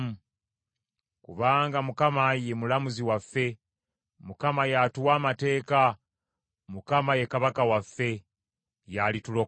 Kubanga Mukama ye mulamuzi waffe, Mukama y’atuwa amateeka, Mukama ye Kabaka waffe, y’alitulokola.